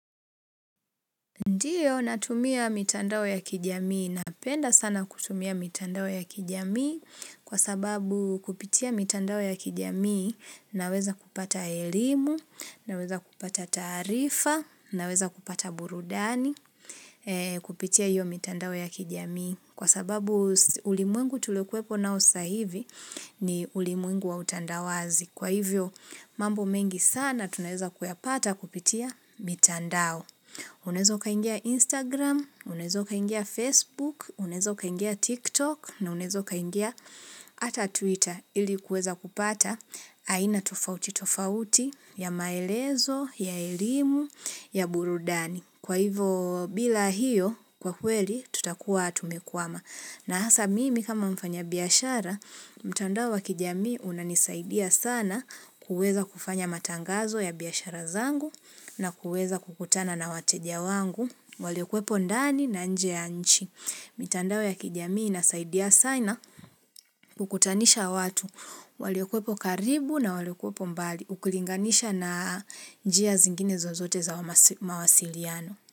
Ndiyo natumia mitandao ya kijamii. Napenda sana kutumia mitandao ya kijamii kwa sababu kupitia mitandao ya kijamii naweza kupata elimu, naweza kupata taarifa, naweza kupata burudani kupitia hiyo mitandao ya kijamii. Kwa sababu ulimwengu tulikuwepo nao sasa hivi ni ulimwengu wa utandawazi. Kwa hivyo mambo mengi sana tunaweza kuyapata kupitia mitandao. Unaweza ukaingia Instagram, unaweza ukaingia Facebook, unaweza ukaingia TikTok na unaweza ukaingia ata Twitter ili kuweza kupata aina tofauti tofauti ya maelezo, ya elimu, ya burudani. Kwa hivo bila hiyo, kwa kweli, tutakuwa tumekwama. Na hasa mimi kama mfanya biashara, mtandao wa kijamii unanisaidia sana kuweza kufanya matangazo ya biashara zangu na kuweza kukutana na wateja wangu. Waliokuwepo ndani na nje ya nchi. Mitandao ya kijamii inasaidia sana kukutanisha watu. Waliokuwepo karibu na waliokuwepo mbali ukilinganisha na njia zingine zozote za mawasiliano.